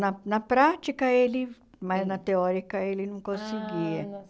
Na na prática ele, mas na teórica ele não conseguia. Ah